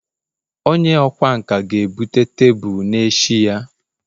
onye ọkwá nkà ga-ebute tebụl n'echi ya